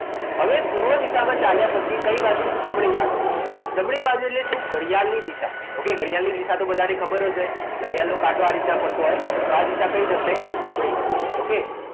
હવે પૂર્વ દિશામાં ચાલ્યા પછી કઈ બાજુ જમણી બાજુ જમણી બાજુ એટલે ઘડિયાળની દિશા ઓકે ઘડિયાળ ની દિશા બધાને ખબર જ હોય ઘડિયાળનો કાંટો આ રીતના ફરતો હોય તો આ દિશા કઈ થશે જમણી okay